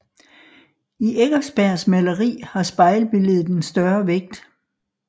I Eckersbergs maleri har spejlbilledet en større vægt